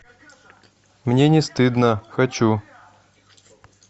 мне не стыдно хочу